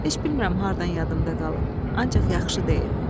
Heç bilmirəm hardan yadımdan qalıb, ancaq yaxşı deyib.